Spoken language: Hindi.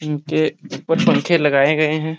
इनके ऊपर पंखे लगाए गए हैं।